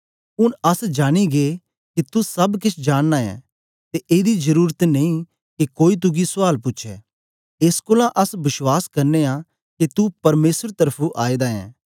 ऊन अस जानी गै के तू सब केछ जांन नां ऐ ते एदी जरुरत नेई के कोई तुगी सुयाल पूछै एस कोलां अस बश्वास करने आं के तू परमेसर त्र्फुं आएदा ऐं